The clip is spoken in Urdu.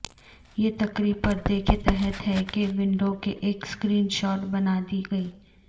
یہ تقریب پردے کے تحت ہے کہ ونڈو کے ایک اسکرین شاٹ بنا دے گی